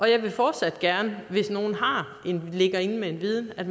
jeg vil fortsat gerne hvis nogen ligger inde med viden at